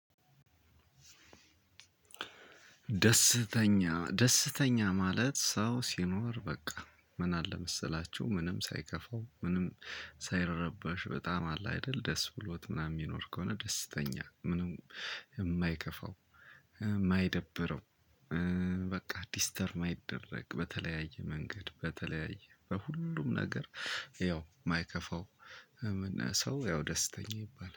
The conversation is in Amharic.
ደስተኛ ደስተኛ ማለት ሰው ሲኖር በቃ ምን አለ መሰላችሁ? ምንም ሳይከፋው ምንም ሳይረበሽ በጣም አለ አይደል ደስ ብሎት ምናምን የሚኖር ከሆነ ደስተኛ ምንም የማይከፋው የማይደብረው። በቃ ዲስተርብ ማይደረግ በተለያየ መንገድ በተለያየ በሁሉም ነገር ያው የማይከፋው አለመኛ ሰው ያው ደስተኛ ይባላል